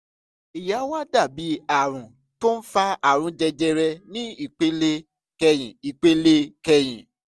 èyí á wá dà bí àrùn tó ń fa àrùn jẹjẹrẹ ní ìpele kẹyìn ìpele kẹyìn